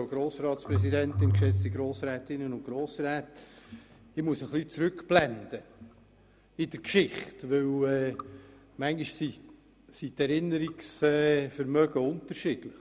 Ich muss in der Geschichte ein bisschen zurückblenden, denn bisweilen sind die Erinnerungsvermögen unterschiedlich .